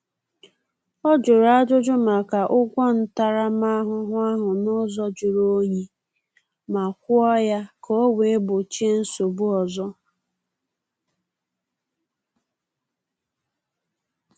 Ọ jụrụ ajuju maka ụgwọ ntaramahụhụ ahụ n’ụzọ juru onyi, ma kwụọ ya ka o wee gbochie nsogbu ọzọ